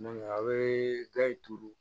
a bɛ ga in turu